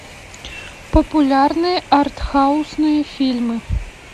популярные арт хаусные фильмы